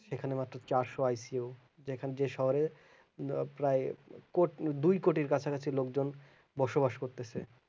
সেখান মাত্র চারশো ICU যেখান যে শহরে ন প্রায় কোট দুই কোটির কাছাকাছি লোক জন বসবাস করতেছে